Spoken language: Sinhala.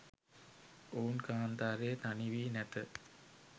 ඔවුන් කාන්තාරයේ තනි වී නැත